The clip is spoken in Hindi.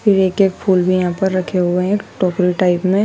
फिर एक एक फूल भी यहां पर रखे हुए हैं एक टोकरी टाइप में--